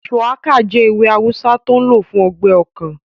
Shùwákà jẹ́ ewé awùsá tó n lò fún ọgbẹ́ ọkàn